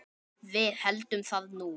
Við héldum það nú.